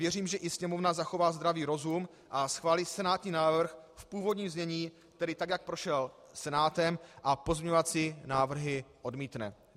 Věřím, že i Sněmovna zachová zdravý rozum a schválí senátní návrh v původním znění, tedy tak, jak prošel Senátem, a pozměňovací návrhy odmítne.